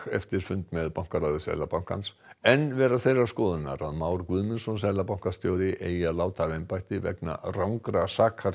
eftir fund með bankaráði Seðlabankans í enn vera þeirrar skoðunar að Már Guðmundsson seðlabankastjóri eigi að láta af embætti vegna rangra